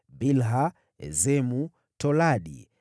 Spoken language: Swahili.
Bilha, Esemu, Toladi,